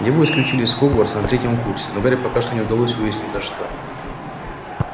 его исключили из хогвартса на третьем курсе но гарри пока что не удалось выяснить за что